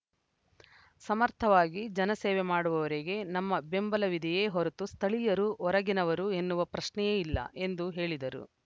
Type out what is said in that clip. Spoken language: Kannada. ಸಮರ್ಥವಾಗಿ ಜನಸೇವೆ ಮಾಡುವವರಿಗೆ ನಮ್ಮ ಬೆಂಬಲವಿದೆಯೇ ಹೊರತು ಸ್ಥಳೀಯರು ಹೊರಗಿನವರು ಎನ್ನುವ ಪ್ರಶ್ನೆಯೇ ಇಲ್ಲ ಎಂದು ಹೇಳಿದರು